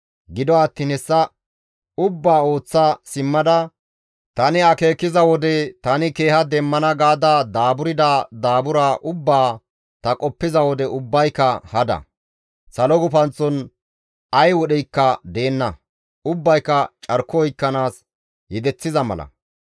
Gido attiin hessa ubbaa ooththa simmada tani akeekiza wode tani keeha demmana gaada daaburda daabura ubbaa ta qoppiza wode ubbayka hada; salo gufanththon ay wodheykka deenna; ubbayka carko oykkanaas yedeththiza mala.